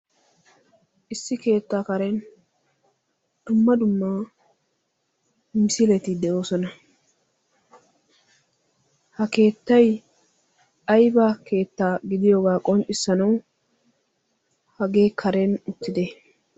Issi keettaa karen dumma dumma misiileti de'oosona. Ha keettay ayba keettaa gidiyoogaa qonxxissanawu hagee karen uttide?